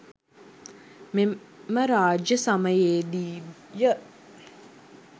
මෙම රාජ්‍ය සමයේදීය.